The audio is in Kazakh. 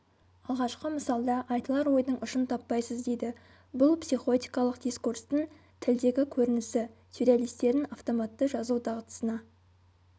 алғашқы мысалда айтылар ойдың ұшын таппайсыз дейді бұл психотикалық дискурстың тілдегі көрінісі сюрреалистердің автоматты жазу дағдысына